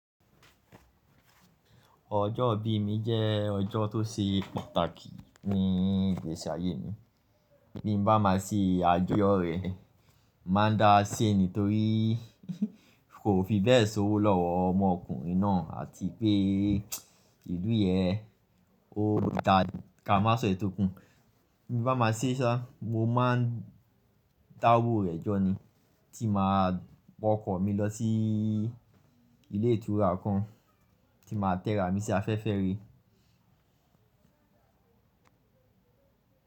Ọjọ́ ibi mi jẹ́ ọjọ́ tó ṣe pàtàkì ní ìgbési ayẹ mi. Bí n ba máa ṣe àjọ́ rẹ̀, màá dá a se nì tórí kò fi bẹ́ẹ̀ ṣòwò lọ́wọ́ ọmọọkùnrin náà àti pé ìlú yẹn, ó ń ta kàmáṣọ ẹ̀tò kùn. Bí mo bá máa ṣe iṣẹ́ sá, mo máa ń dá owó rẹ̀ jọ ni, ti máa pọ ọkọ̀ mi lọ sí ilé ìtura kan, ti máa tẹ̀rà mi sí afẹ́fẹ́ re.